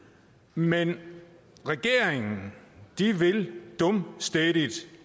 men regeringen vil dumstædigt